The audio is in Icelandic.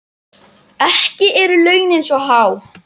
Ekki eru launin svo há.